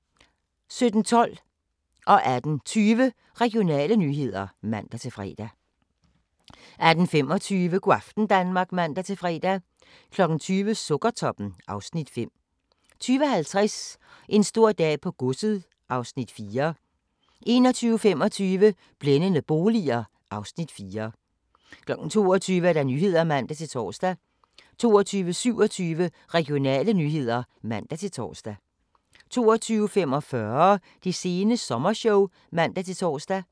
17:12: Regionale nyheder (man-fre) 18:20: Regionale nyheder (man-fre) 18:25: Go' aften Danmark (man-fre) 20:00: Sukkertoppen (Afs. 5) 20:50: En stor dag på godset (Afs. 4) 21:25: Blændende boliger (Afs. 4) 22:00: Nyhederne (man-tor) 22:27: Regionale nyheder (man-tor) 22:45: Det sene sommershow (man-tor)